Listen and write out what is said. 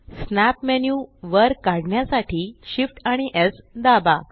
snap menu वर काढण्यासाठी Shift आणि स् दाबा